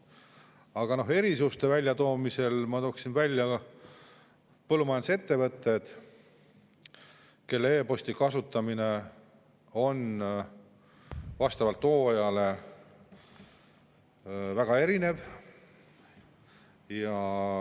Aga erisuste kohta ma tooksin välja põllumajandusettevõtted, kelle e‑posti kasutamine on vastavalt hooajale väga erinev.